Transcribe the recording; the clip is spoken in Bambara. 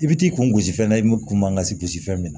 I bi t'i kungo gosi fɛn na i kun man kasi gosi fɛn min na